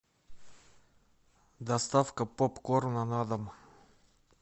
доставка попкорна на дом